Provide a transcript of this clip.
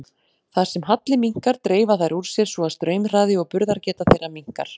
Þar sem halli minnkar dreifa þær úr sér svo að straumhraði og burðargeta þeirra minnkar.